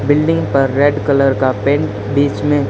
building पर red colour का paint बीच में--